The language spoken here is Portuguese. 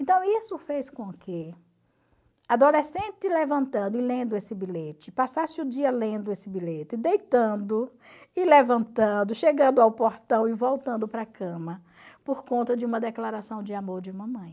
Então isso fez com que, adolescente levantando e lendo esse bilhete, passasse o dia lendo esse bilhete, deitando e levantando, chegando ao portão e voltando para a cama, por conta de uma declaração de amor de mamãe.